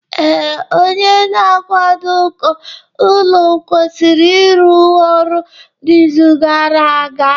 Ee, onye na-akwado uko ụlọ kwụsịrị ịrụ ọrụ n'izu gara aga